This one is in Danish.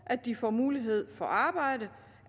at de får mulighed for at arbejde